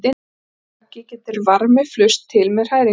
Í leku bergi getur varmi flust til með hræringu í vatni.